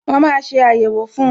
Wọn máa ṣe ayẹwo fun